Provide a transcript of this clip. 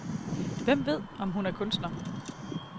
Hvem ved, om hun er kunstner.